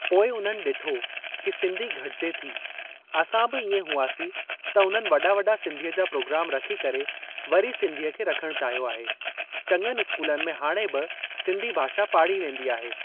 पोइ उन्हनि ॾिठो कि सिंधी घटिजे थी असां बि इएं हुयासीं त उन्हनि वॾा वॾा सिंधीअ जा प्रोग्राम रखी करे वरी सिंधीअ खे रखण चाहियो आहे चङनि स्कूलनि में हाणे बि सिंधी भाषा पाढ़ी वेंदी आहे।